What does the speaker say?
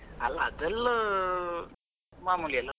ಅಲ್ಲ ಅದೆಲ್ಲಾ ಮಾಮೂಲಿ ಅಲಾ.